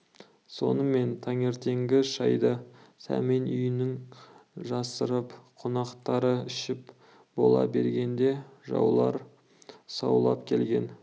сонымен таңертеңгі шайды сәмен үйінің жасырын қонақтары ішіп бола бергенде жаулар саулап келген